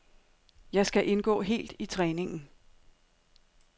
Jeg skal indgå helt i træningen.